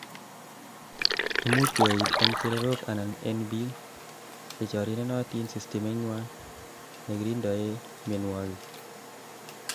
imuch koyait en chererok anan en biik chechorirenotin system inywan negiringdoi mionwek